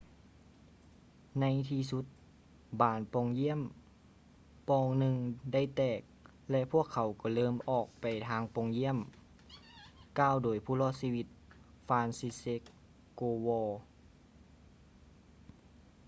ໃນທີ່ສຸດບານປ່ອງຢ່ຽມປ່ອງໜຶ່ງໄດ້ແຕກ ແລະ ພວກເຂົາກໍເລີ່ມອອກໄປທາງປ່ອງຢ້ຽມ ກ່າວໂດຍຜູ້ລອດຊີວິດ franciszek kowal